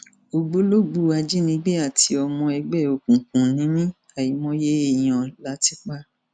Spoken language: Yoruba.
ògbólógbòó ajínigbé àti ọmọ ẹgbẹ òkùnkùn ni mí àìmọye èèyàn la ti pa